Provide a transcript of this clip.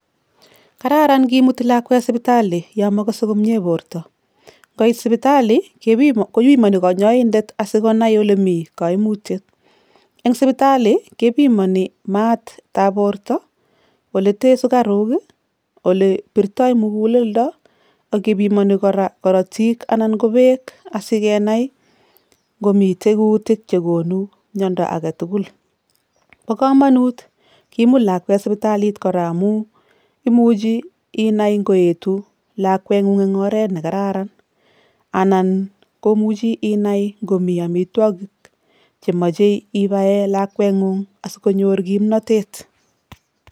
Kararan kimuti lakwet sipitali yo mokose komnye borta, ngoit sipitali kopimoni kanyaindet asi konai ole mi kaimutyet, eng sipitali kepimoni matab borta, oletee sukaruk ii, olebirtoi muguleldo ak kepimoni kora korotik anan ko beek asi kenai ngomitei kuutik che konu miondo age tugul. Bo kamanut kimut lakwet sipitalit kora amu imuchi inai ngoetu lakwengung eng oret ne kararan anan komuchi inai ngomi amitwogik che mochei ibae lakwengung asi konyor kimnotet.